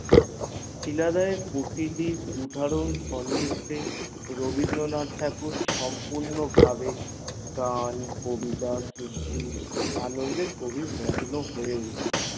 শিলাদে প্রতিদিন সননিধে রবীন্দ্রনা থ ঠাকুর আবেগ গান কবিতা সৃষ্টির আনন্দে কবি মগ্ন হয়ে উঠল